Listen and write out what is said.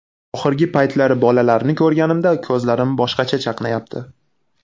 Oxirgi paytlari bolalarni ko‘rganimda, ko‘zlarim boshqacha chaqnayapti.